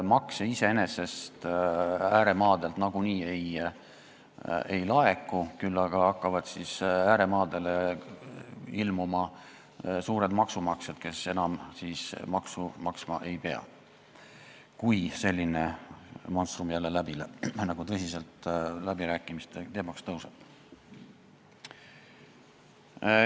Makse ääremaadelt nagunii ei laeku, küll aga hakkavad siis ääremaadele ilmuma suured maksumaksjad, kes enam maksu maksma ei pea, kui selline monstrum läbirääkimistel tõsiselt teemaks tõuseb.